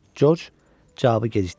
Corc cavabı gecikdirmədi.